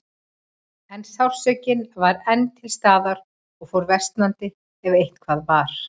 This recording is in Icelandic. En sársaukinn var enn til staðar og fór versnandi, ef eitthvað var.